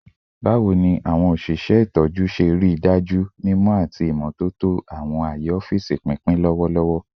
Bawo ni awọn oṣiṣẹ itọju ṣe rii daju mimọ ati imototo ti awọn aaye ọfiisi pinpin lọwọlọwọ?